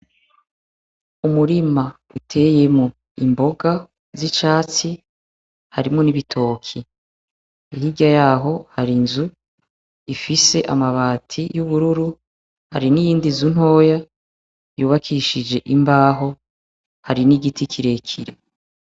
Umurima uteyemwo imboga z'icatsi, harimwo n'ibitoki. Hirya yaho hari inzu ifise amabati y'ubururu, hari n'iyindi nzu ntoya yubakishije imbaho, hari n'igiti kirekire.